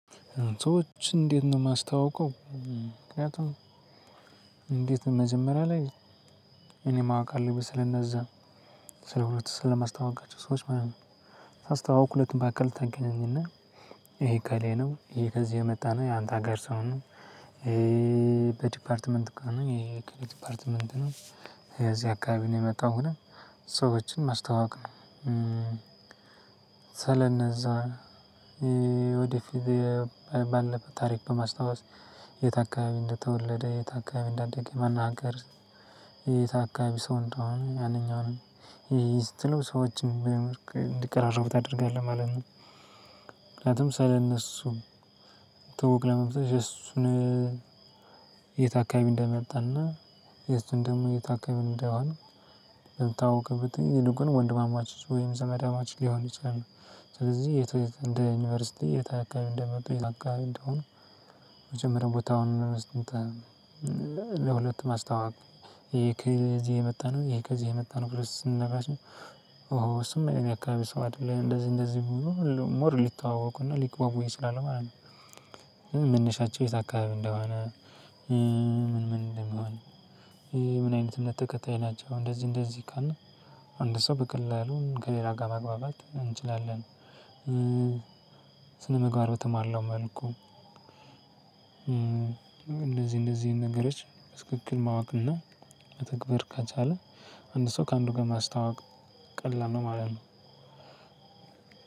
ሰዎችን እንዴት ነው የማስታዋውቀው? ምክንያቱም እንዴት ነው፣ መጀመሪያ ላይ እኔ ማወቅ አለብኝ ስለነዛ፤ ስለሁለቱ ስለማስተዋውቃቸው ሰዎች ማለት ነው። ሳስተዋውቅ ሁለቱ መካከል ታገናኝ እና ይሄ እከሌ ነው ይሄ ከዚህ የመጣ ነው ያንተ ሀገር ሰው ነው፣ በዲፓርትመንት ከሆነ ይሄ የእከሌ ዲፓርትመንት ነው የዚህ አካባቢ ነው የመጣው ሰዎችን ማስተዋወቅ ነው። ስለነዛ ወደፊት ባለፈ ታሪክ በማስታወስ የት አካባቢ እንደተወለደ የት አካባቢ እንዳደገ ማን ሀገር የት አካባቢ ሰው እንደሆነ ማንኛውንም ይህ ይህን ስትለው ሰዎችን እንዲቀራረቡ ታደርጋለህ ማለት ነው። ምክንያቱም ስለነሱ ትውውቅ ለመምሰል የእሱን፣ የት አካባቢ እንደመጣ እና የሱን ደግሞ የት አካባቢ እንደሆን በሚታውቅበት ጊዜ ይልቁኑ ወንድማማቾች ወይም ዘመዳማቾስ ሊሆኑ ይችላሉ፤ ስለዚህ የት እንደ ዩኒቨርሲቲ የት አካባቢ እንደመጡ የት አካባቢ እንደሆኑ መጀመሪያ ቦታውን ለሁለቱ ማስተዋወቅ ይሄ ከዚህ የመጣ ነው ይሄ ከዚህ የመጣ ነው ብለህ ስትነግረው ራሱ ኦ እሱማ የኔ አካባቢ ሰው አደለ፣ እንደዚህ እንደዚህ ሞር ሊተዋወቁ እና ሊግባቡ ይችላሉ ማለት ነው። መነሻቸው የት አካባቢ እንደሆነ? ምን ምን እንደሚሆን? ምን አይነት እምነት ተከታይ ናቸው? እንደዚህ እንደዚህ ካልን አንድ ሰው በቀላሉ ከሌላ ጋር ማግባባት እንችላለን። ስነምግባር በተሟላው መልኩ እነዚህን እነዚህን ነገሮች በትክክል ማወቅ እና መተግበር ከቻለ፣ አንድ ሰው ከአንዱ ጋር ማስተዋወቅ ቀላል ነው ማለት ነው።